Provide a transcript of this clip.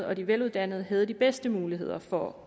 og de veluddannede havde de bedste muligheder for